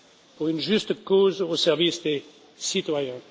pour une juste cause, au service des citoyens.